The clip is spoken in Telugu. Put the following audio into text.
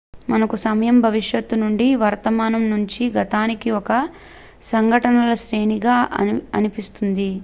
మనకు సమయం భవిష్యత్తు నుండి వర్తమానంలో నుంచి గతానికి ఒక సంఘటనల శ్రేణిగా అనిపిస్తుంది